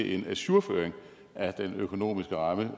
en ajourføring af den økonomiske ramme